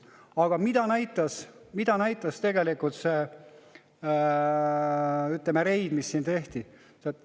Aga mida näitas see, ütleme, reid, mis siin tehti?